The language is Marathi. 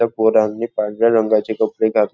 त्या पोरांनी पांढऱ्या रंगाचे कपडे घात--